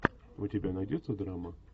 у тебя найдется драма